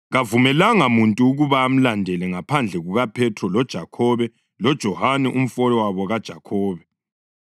Kavumelanga muntu ukuba amlandele ngaphandle kukaPhethro, loJakhobe loJohane umfowabo kaJakhobe.